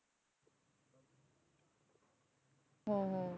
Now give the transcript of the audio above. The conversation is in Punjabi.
ਹਮ ਹਮ